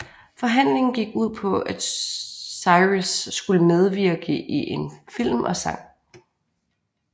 Forhandlingen gik ud på at Cyrus skulle medvirke i en film og sang